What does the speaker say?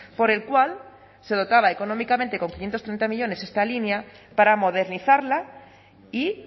por el cual se dotaba económicamente con quinientos treinta millónes esta línea para modernizarla y